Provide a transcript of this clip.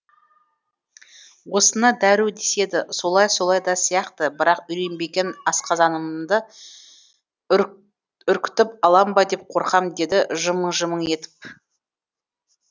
осыны дәру деседі солайы солай да сияқты бірақ үйренбеген асқазанымды үркітіп алам ба деп қорқам деді жымың жымың етіп